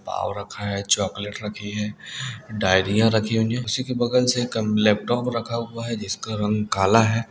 पाव रखा है चॉकलेट रखी है डाइरिया रखी हुई है इसी के बगल से कम लैपटॉप रखा हुआ है जिसका रंग काला है।